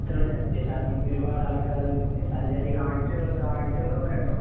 അതെയാ. കാഴ്ചകള് കാഴ്ചകള് കൊറേയൊണ്ടോ?